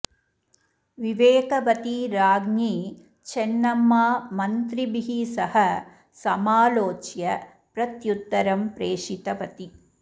विवेकवती राज्ञी चेन्नम्मा मन्त्रिभिः सह समालोच्य प्रत्युत्तरं प्रेषितवती